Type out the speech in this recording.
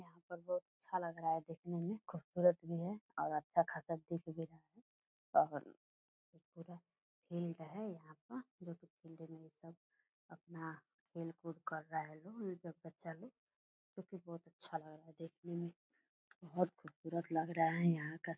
यहाँ पर बहुत अच्छा लग रहा है देखने में खूबसूरत भी है और अच्छा खासा दिख भी रहा है और पूरा हिल रहा है यहाँ पर जो कि फील्ड में ये सब अपना खेल कूद कर रहें है लोग और बच्चा लोग क्योंकि बहुत अच्छा लग रहा है देखने में बहोत खूबसूरत लग रहा है यहाँ का --